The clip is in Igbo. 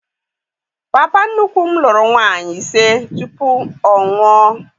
Papa nnukwu m lụrụ nwaanyị ise tupu ọnwụ a.